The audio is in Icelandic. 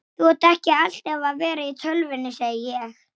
Það sýður á henni.